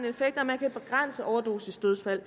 effekt at man kan begrænse overdosisdødsfald